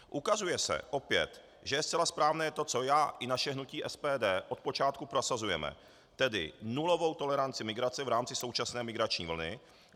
Ukazuje se opět, že je zcela správné to, co já i naše hnutí SPD od počátku prosazujeme, tedy nulovou toleranci migrace v rámci současné migrační vlny.